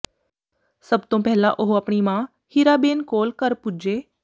ਸਭ ਤੋਂ ਪਹਿਲਾ ਉਹ ਆਪਣੀ ਮਾਂ ਹੀਰਾਬੇਨ ਕੋਲ ਘਰ ਪੁੱਜੇ